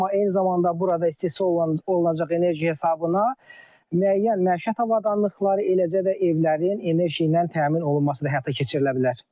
Amma eyni zamanda burada istehsal olunacaq enerji hesabına müəyyən məişət avadanlıqları, eləcə də evlərin enerji ilə təmin olunması da həyata keçirilə bilər.